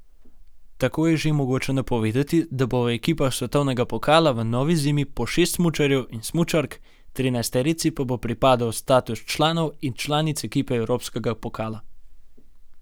Tako je že mogoče napovedati, da bo v ekipah svetovnega pokala v novi zimi po šest smučarjev in smučark, trinajsterici pa bo pripadel status članov in članic ekipe evropskega pokala.